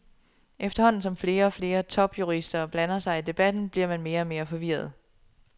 Efterhånden som flere og flere topjurister blander sig i debatten, bliver man mere og mere forvirret.